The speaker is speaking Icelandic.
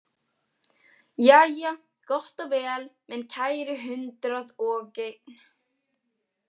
Jæja, gott og vel, minn kæri hundraðogeinn.